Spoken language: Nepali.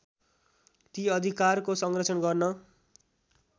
ती अधिकारको संरक्षण गर्न